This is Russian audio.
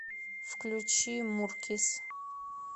включи муркис